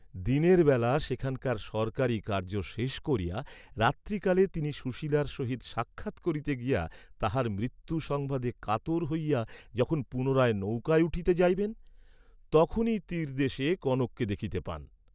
দিনের বেলা সেখানকার সরকারী কার্য্য শেষ করিয়া রাত্রি কালে তিনি সুশীলার সহিত সাক্ষাৎ করিতে গিয়া তাঁহার মৃত্যু সংবাদে কাতর হইয়া যখন পুনরায় নৌকায় উঠিতে যাইবেন, তখনই তীরদেশে কনককে দেখিতে পান।